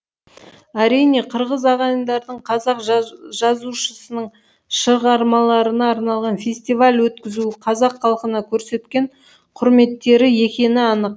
әрине қырғыз ағайындардың қазақ жазушысының шығармаларына арналған фестиваль өткізуі қазақ халқына көрсеткен құрметтері екені анық